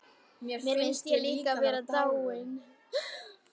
Mér finnst ég líka vera dáin.